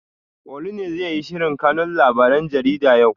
Olu ne zai yi sharhin kanun labaren jarida yau?